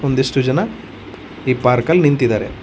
ಒಂದಿಷ್ಟು ಜನ ಈ ಪಾರ್ಕಲ್ ನಿಂತಿದಾರೆ.